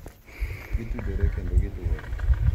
Gitudore kendo giluwore,